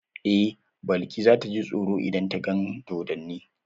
Eh, Balki za ta ji tsoro idan ta gan dodonni.